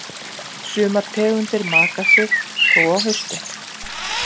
Sumar tegundir maka sig þó á haustin.